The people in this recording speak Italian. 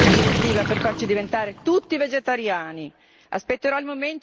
E allora, a quando una direttiva per farci diventare tutti vegetariani?